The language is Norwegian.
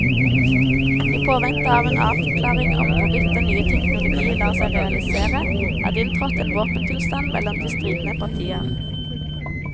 I påvente av en avklaring om hvorvidt den nye teknologi lar seg realisere, er det inntrådt en våpenstillstand mellom de stridende partier.